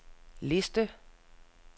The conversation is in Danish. liste